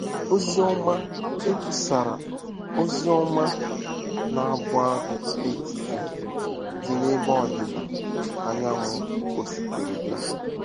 “Ozi Ọma” Ekwusara Ozi Ọma n’Agwaetiti Dị n’Ebe Ọdịda Anyanwụ Ọstrelia